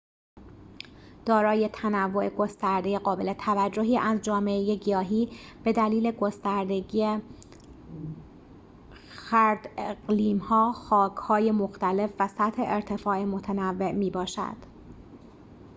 دارای تنوع گسترده قابل توجهی از جامعه گیاهی بدلیل گستردگی خرداقلیم‌ها خاک‌های مختلف و سطح ارتفاع متنوع می‌باشد